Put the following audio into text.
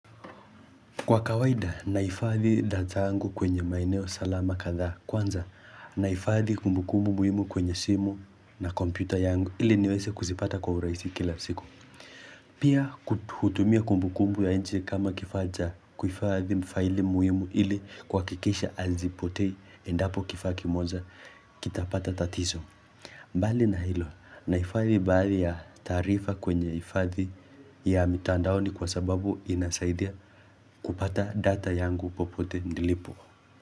Kwa kawaida naifadhi data angu kwenye maeneo salama kadhaa kwanza naifadhi kumbukumbu muhimu kwenye simu na kompyuta yangu ili niweze kuzipata kwa uraisi kila siku. Pia hutumia kumbukumbu ya nje kama kifaa cha kuifadhi mfaili muhimu ili kuhakikisha hazipotei endapo kifaa kimoja kitapata tatizo. Mbali na hilo nahifadhi baadhi ya taarifa kwenye hifadhi ya mitandaoni kwa sababu inasaidia kupata data yangu popote nilipo.